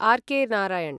RK. Narayan